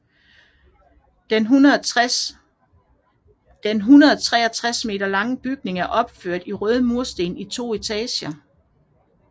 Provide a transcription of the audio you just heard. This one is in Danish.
Den 163 m lange bygning er opført i røde mursten i to etager